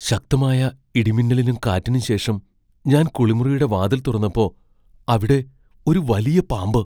ശക്തമായ ഇടിമിന്നലിനും കാറ്റിനും ശേഷം ഞാൻ കുളിമുറിയുടെ വാതിൽ തുറന്നപ്പോ അവിടെ ഒരു വലിയ പാമ്പ്.